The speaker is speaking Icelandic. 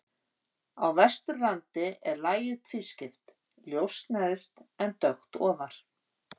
Á Vesturlandi er lagið tvískipt, ljóst neðst en dökkt ofar.